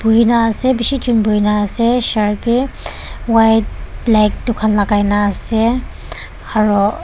buhina ase bishi jon buhinaase shirt bi white black edu khan lakai naase aro.